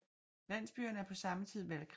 Landsbyerne er på samme tid valgkredse